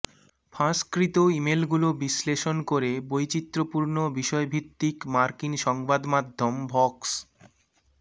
ফাঁসকৃত ইমেইলগুলো বিশ্লেষণ করে বৈচিত্র্যপূর্ণ বিষয়ভিত্তিক মার্কিন সংবাদমাধ্যম ভক্স